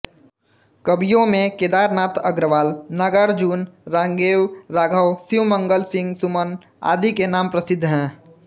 कवियों में केदारनाथ अग्रवाल नागार्जुन रांगेय राघव शिवमंगल सिंह सुमन आदि के नाम प्रसिद्ध हैं